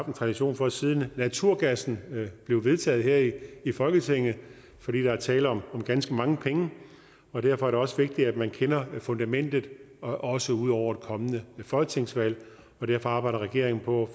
en tradition for siden naturgassen blev vedtaget her i i folketinget for der er tale om ganske mange penge og derfor er det også vigtigt at man kender fundamentet også ud over et kommende folketingsvalg og derfor arbejder regeringen på